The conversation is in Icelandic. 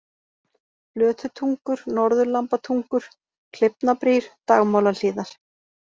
Flötutungur, Norðurlambatungur, Kleifnabrýr, Dagmálahlíðar